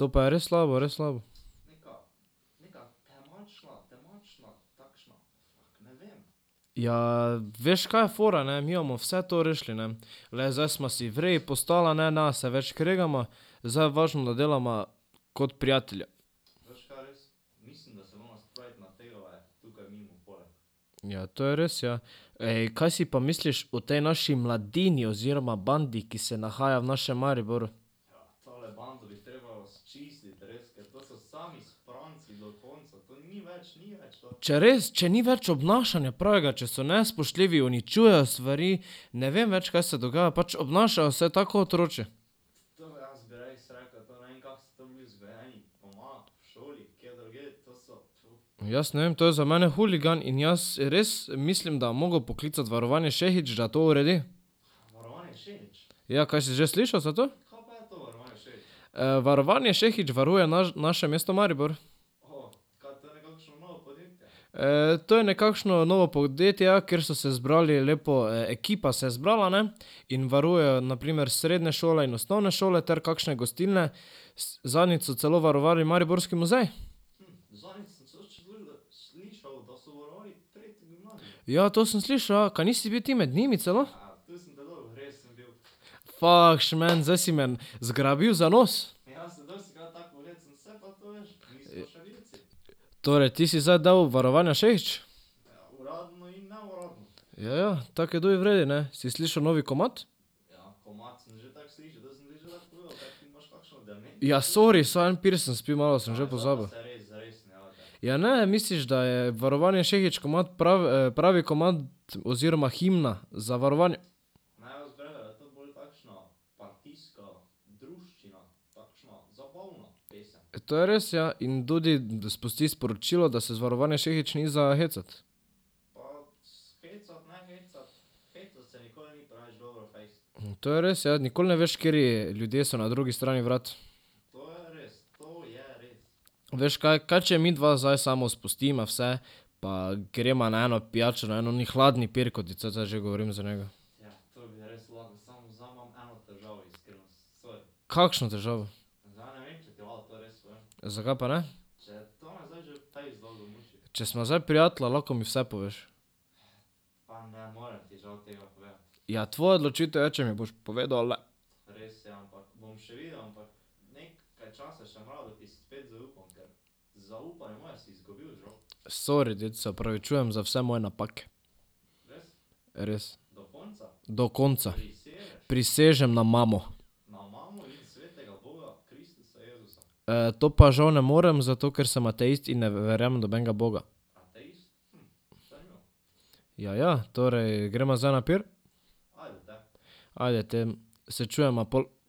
To pa je res slabo, res slabo. Ja, veš, kaj je fora, ne, mi bomo vse to rešili, ne. Glej, zdaj sva si v redu postala, ne se več kregava, zdaj je važno, da delava kot prijatelja. Ja, to je res, ja. Ej, kaj si pa misliš o tej naši mladini oziroma bandi, ki se nahaja v našem Mariboru? Če res, če ni več obnašanja pravega, če so nespoštljivi, uničujejo stvari, ne vem več, kaj se dogaja, pač obnašajo se tako otročje. Jaz ne vem, to je za mene huligan in jaz res mislim, da bom moral poklicati Varovanje Šehić, da to uredi. Ja, kaj si že slišal za to? Varovanje Šehić varuje naše mesto Maribor. to je nekakšno novo podjetje, ja, ker so se zbrali lepo, ekipa se je zbrala, ne, in varujejo na primer srednje šole in osnovne šole ter kakšne gostilne. Zadnjič so celo varovali mariborski muzej. Ja, to sem slišal, ja. Kaj nisi bil ti med njimi celo? Fak, šment, zdaj si me zgrabil za nos. Torej, ti si zdaj del Varovanja Šehić? Ja, ja. Tako je tudi v redu, ne. Si slišal novi komad? Ja, sori, samo en pir sem spil, malo sem že pozabil. Ja ne, misliš, da je Varovanje Šehić komad pravi komad, oziroma himna za varovanje? To je res, ja. In tudi spusti sporočilo, da se iz Varovanja Šehić ni za hecati. To je res, ja, nikoli ne veš, kateri ljudje so na drugi strani vrat. Veš kaj? Kaj če midva zdaj samo spustiva vse pa greva na eno pijačo, na en oni hladni pir, ko ti cel cajt že govorim za njega. Kakšno težavo? Zakaj pa ne? Če sva zdaj prijatelja, lahko mi vse poveš. Ja, tvoja odločitev je, če mi boš povedal ali ne. Sori, ded, se opravičujem za vse moje napake. Res. Do konca. Prisežem na mamo. to pa žal ne morem, zato ker sem ateist in ne verjamem v nobenega boga. Ja, ja. Torej, greva zdaj na pir? Ajde, te. Se čujeva pol.